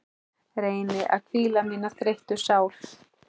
Reyni að hvíla mína þreyttu sál.